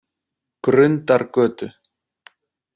Grundargötu